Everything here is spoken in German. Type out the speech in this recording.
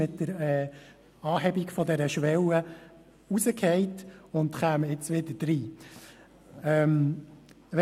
Mit der Anhebung der Schwelle fielen sie aus dieser Kategorie heraus, in die sie dann wieder aufgenommen würden.